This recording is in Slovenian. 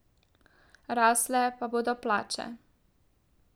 Rasle pa bodo plače.